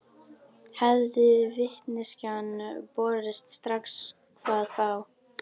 Hefði vitneskjan borist strax hvað þá?